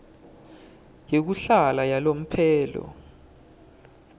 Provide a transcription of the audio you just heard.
yekuhlala yalomphelo